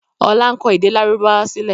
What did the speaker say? Ọlá ń kọ èdè lárúbáwá sílẹ̀